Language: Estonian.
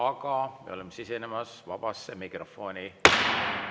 Aga me oleme sisenemas vabasse mikrofoni.